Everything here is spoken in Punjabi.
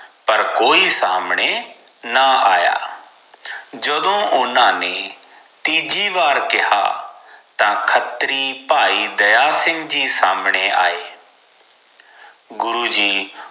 ਪਾਰ ਕੋਈ ਸਾਮਣੇ ਨਾ ਆਯਾ ਜਦੋ ਓਨਾ ਨੇ ਤੀਜੀ ਵਾਰ ਕਿਹਾ ਤਾ ਖਤ੍ਰੀ ਭਾਈ ਦਯਾ ਸਿੰਘ ਜੀ ਸਾਮਣੇ ਆਏ ਗੁਰੂਜੀ